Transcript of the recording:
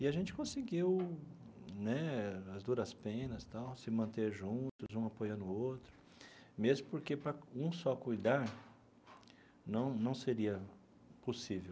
E a gente conseguiu né, às duras penas tal, se manter juntos, um apoiando o outro, mesmo porque para um só cuidar não não seria possível.